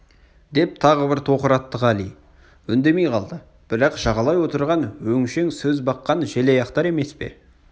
деп тағы бір тоқыратты қали үндемей қалды бірақ жағалай отырған өңшең сөз баққан желаяқтар емес пе